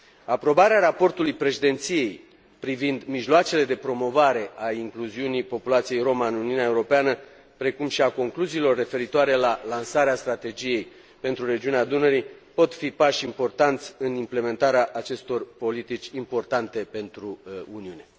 Aprobarea raportului Președinției privind mijloacele de promovare a incluziunii populației romă în Uniunea Europeană, precum și a concluziilor referitoare la lansarea strategiei pentru regiunea Dunării pot fi pași importanți în implementarea acestor politici importante pentru Uniune.